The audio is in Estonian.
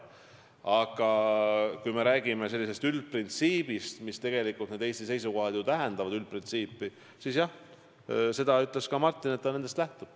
Aga kui me räägime üldprintsiibist – need Eesti seisukohad ju tähendavad üldprintsiipi –, siis jah, seda ütles ka Martin, et ta nendest lähtub.